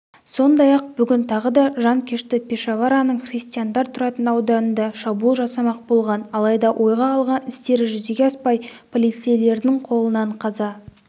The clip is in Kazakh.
сондай-ақ бүгін тағы да жанкешті пешавараның христиандар тұратын ауданында шабуыл жасамақ болған алайда ойға алған істері жүзеге аспай полицейлердің қолынан қаза